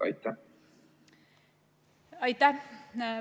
Aitäh!